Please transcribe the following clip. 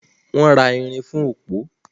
Wọ́n ra ìrìn fún òpó.